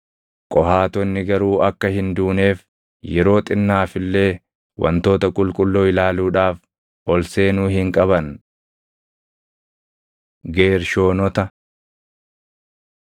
Qohaatonni garuu akka hin duuneef yeroo xinnaaf illee wantoota qulqulluu ilaaluudhaaf ol seenuu hin qaban.” Geershoonota